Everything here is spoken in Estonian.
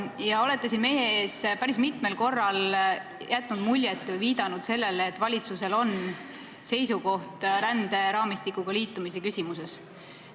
Te olete siin meie ees päris mitmel korral jätnud mulje või viidanud sellele, et valitsusel on seisukoht ränderaamistikuga liitumise küsimuses.